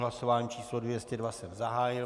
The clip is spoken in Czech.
Hlasování číslo 202 jsem zahájil.